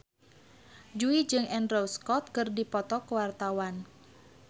Jui jeung Andrew Scott keur dipoto ku wartawan